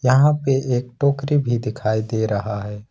यहां पे एक टोकरी भी दिखाई दे रहा है।